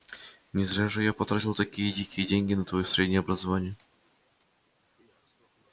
не зря же я потратил такие дикие деньги на твоё среднее образование